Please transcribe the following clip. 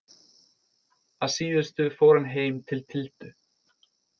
Að síðustu fór hann heim til Tildu.